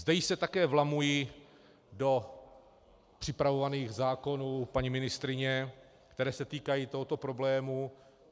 Zde se již také vlamuji do připravovaných zákonů paní ministryně, které se týkají tohoto problému.